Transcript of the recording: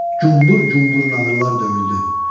Gumbur gumbur nağrılar döyüldü.